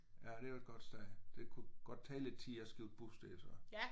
Ja det var et godt sted. Det kunne godt tage lidt tid at skifte bus der så?